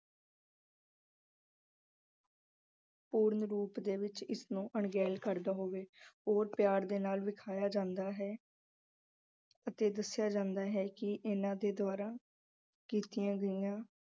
ਪੂਰਨ ਰੂਪ ਵਿੱਚ ਇਸ ਨੂੰ ਅਣਗਹਿਲ ਕਰਦਾ ਹੋਵੇ ਉਦੋਂ ਪਿਆਰ ਦੇ ਨਾਲ ਵਿਖਾਇਆਂ ਜਾਂਦਾ ਹੈ ਅਤੇ ਦੱਸਿਆ ਜਾਂਦਾ ਹੈ ਕਿ ਇਹਨਾਂ ਦੇ ਦੁਆਰਾ ਕੀਤੀਆਂ ਗਈਆਂ